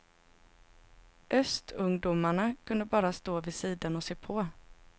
Östungdomarna kunde bara stå vid sidan och se på.